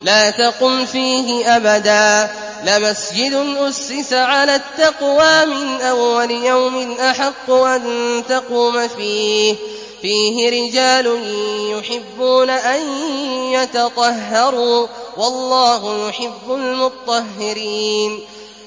لَا تَقُمْ فِيهِ أَبَدًا ۚ لَّمَسْجِدٌ أُسِّسَ عَلَى التَّقْوَىٰ مِنْ أَوَّلِ يَوْمٍ أَحَقُّ أَن تَقُومَ فِيهِ ۚ فِيهِ رِجَالٌ يُحِبُّونَ أَن يَتَطَهَّرُوا ۚ وَاللَّهُ يُحِبُّ الْمُطَّهِّرِينَ